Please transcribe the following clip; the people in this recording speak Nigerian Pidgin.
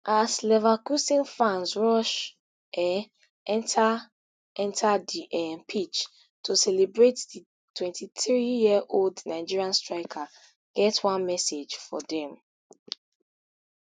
as leverkusen fans rush um enta enta di um pitch to celebrate di twenty-threeyearold nigeria striker get one message for dem